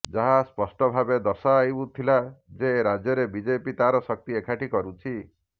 ଯାହା ସ୍ପଷ୍ଟ ଭାବେ ଦର୍ଶାଉଥିଲା ଯେ ରାଜ୍ୟରେ ବିଜେପି ତାର ଶକ୍ତି ଏକାଠି କରୁଛି